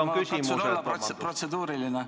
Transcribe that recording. Nüüd on küsimused.